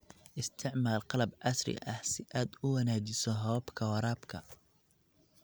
Isticmaal qalab casri ah si aad u wanaajiso hababka waraabka.